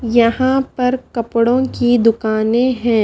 यहां पर कपड़ों की दुकानें हैं।